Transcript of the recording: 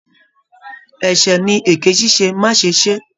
Ẹsẹ ní eke ṣiṣe, ma ṣe se!